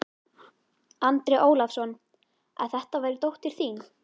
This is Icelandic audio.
Andri Ólafsson: Að þetta væri dóttir þín?